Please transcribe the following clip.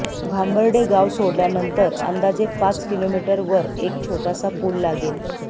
भांबर्डे गाव सोडल्यानंतर अंदाजे पाच किलोमीटर वर एक छोटासा पूल लागेल